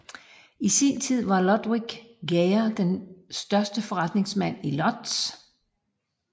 I sin tid var Ludwik Geyer den største forretningsmand i Łódź